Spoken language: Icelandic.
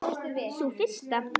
Sú fyrsta?